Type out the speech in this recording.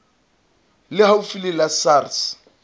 le haufi le la sars